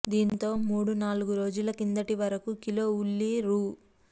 దీంతో మూడు నాలుగు రోజుల కిందటి వరకు కిలో ఉల్లి రూ